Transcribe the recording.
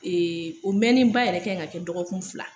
o mɛnenba yɛrɛ kɛ ŋa kɛ dɔgɔkun fila